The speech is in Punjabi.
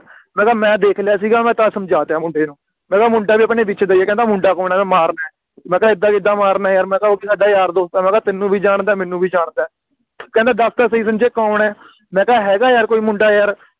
ਮੈਂ ਕਿਹਾ ਮੈਂ ਦੇਖ ਲਿਆ ਸੀਗਾ ਮੈਂ ਤਾ ਸਮਝਤਯਾ ਮੁੰਡੇ ਨੂੰ ਮੈਂ ਕਿਹਾ ਮੁੰਡਾ ਵੀ ਆਪਣੇ ਵਿਚ ਦਾ ਹੀ ਹੈ ਕਹਿੰਦਾ ਮੁੰਡਾ ਕੌਣ ਆ ਮੈਂ ਮਾਰਨਾ ਆ ਮੈਂ ਕਿਹਾ ਇਦਾ ਕਿੱਦਾਂ ਮਾਰਨਾ ਆ ਯਾਰ ਮੈਂ ਕਿਹਾ ਉਹ ਵੀ ਸਾਡਾ ਯਾਰ ਦੋਸਤ ਆ ਮੈਂ ਕਿਹਾ ਤੈਨੂੰ ਵੀ ਜਾਣਦਾ ਆ ਮੈਨੂੰ ਵੀ ਜਾਣਦਾ ਕਹਿੰਦਾ ਦਸ ਤਾ ਸਹੀ ਸੰਜੇ ਕੌਣ ਆ ਮੈਂ ਕਿਹਾ ਹੇਗਾ ਯਾਰ ਕੋਈ ਮੁੰਡਾ ਯਾਰ